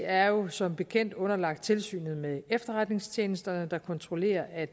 er jo som bekendt underlagt tilsynet med efterretningstjenesterne der kontrollerer at